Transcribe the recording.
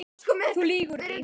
Þú lýgur því